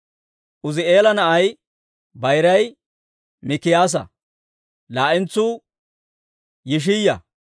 Uuzi'eela na'ay bayiray Mikiyaasa; laa"entsuu Yishiyaa.